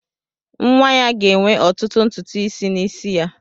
Nwa ya ga-enwe ọtụtụ ntutu isi n'isi ya.